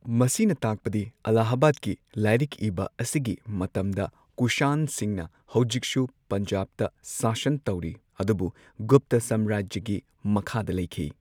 ꯃꯁꯤꯅ ꯇꯥꯛꯄꯗꯤ ꯑꯜꯂꯥꯍꯕꯥꯗꯀꯤ ꯂꯥꯏꯔꯤꯛ ꯏꯕ ꯑꯁꯤꯒꯤ ꯃꯇꯝꯗ ꯀꯨꯁꯥꯟꯁꯤꯡꯅ ꯍꯧꯖꯤꯛꯁꯨ ꯄꯟꯖꯥꯕꯇ ꯁꯥꯁꯟ ꯇꯧꯔꯤ ꯑꯗꯨꯕꯨ ꯒꯨꯞꯇ ꯁꯥꯝꯔꯥꯖ꯭ꯌꯒꯤ ꯃꯈꯥꯗ ꯂꯩꯈꯤ꯫